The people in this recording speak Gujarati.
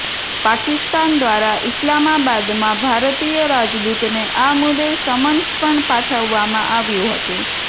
પાકિસ્તાન દ્વારા ઇસ્લામાબાદમાં ભારતીય રાજદૂતને આ મુદ્દે સમન્સ પણ પાઠવવામાં આવ્યું હતુ